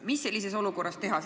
Mis sellises olukorras teha?